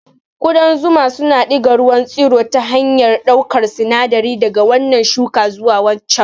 Ƙudan zuma suna diga ruwan tsiro ta hanyar ɗaukar sinadari daga wannan shuka zuwa waccan.